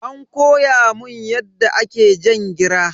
An koya mun yadda ake jan gira.